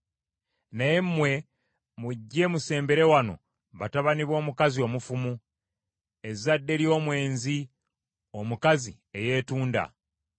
“Naye mmwe mujje musembere wano batabani b’omukazi omufumu ezzadde ly’omwenzi omukazi eyeetunda.